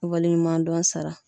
Waleɲumandɔn sara